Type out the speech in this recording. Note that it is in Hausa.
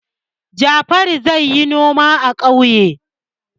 Jafaru zai yi noma a ƙauye.